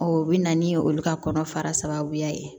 o bɛ na ni olu ka kɔnɔ faraya ye